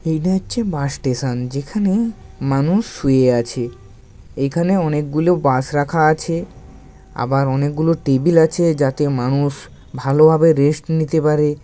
এটা হচ্ছে bus station যেখানে মানুষ শুয়ে আছে। এখানে অনেক গুলো বাস রাখা আছে। আবার অনেক গুলো টেবিল আছে। যাতে মানুষ ভালোভাবে রেস্ট নিতে পারে।